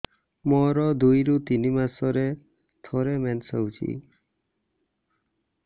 ମୋର ଦୁଇରୁ ତିନି ମାସରେ ଥରେ ମେନ୍ସ ହଉଚି